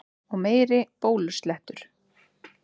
Og meiri blóðslettur!